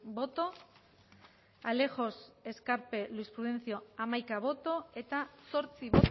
bai hamaika bai zortzi